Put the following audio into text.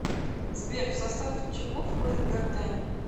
сбер в состав чего входит гортань